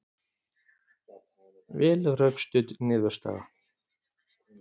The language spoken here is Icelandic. Vel rökstudd niðurstaða